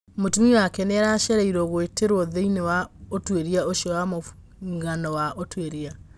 Mũtumĩa wake nĩarecirĩrio gũtwĩrio thĩiniĩ wa utwĩria ũcio wa mũngano wa ũtwĩria.